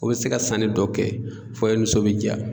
O bɛ se ka sanni dɔ kɛ fɔ i nisɔn bɛ jaa.